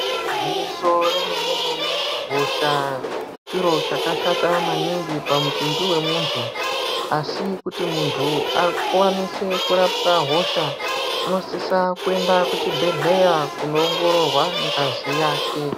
Igwinyiso remene-mene hosha chiro chakashata maningi pamutumbi vemuntu. Asi kuti muntu akwanise kurapwa hosha unosisa kuenda kuchibhedhleya kunoongororwa ngazi yake.